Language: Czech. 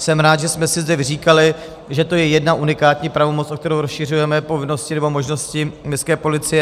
Jsem rád, že jsme si zde vyříkali, že to je jedna unikátní pravomoc, o kterou rozšiřujeme povinnosti nebo možnosti městské policie.